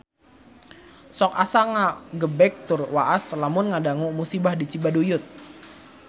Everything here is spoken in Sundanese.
Sok asa ngagebeg tur waas lamun ngadangu musibah di Cibaduyut